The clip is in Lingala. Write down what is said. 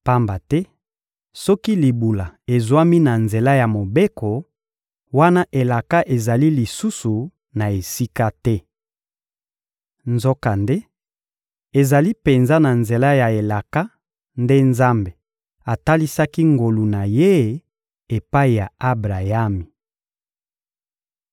Pamba te soki libula ezwami na nzela ya Mobeko, wana elaka ezali lisusu na esika te. Nzokande ezali penza na nzela ya elaka nde Nzambe atalisaki ngolu na Ye epai ya Abrayami.